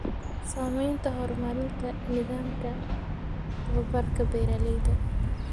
Saamaynta horumarinta nidaamka tababarka beeralayda.